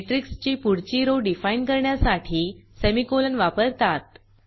मॅट्रिक्सची पुढची row define करण्यासाठी सेमीकोलन वापरतात